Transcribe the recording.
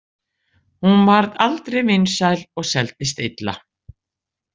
Hún varð aldrei vinsæl og seldist illa.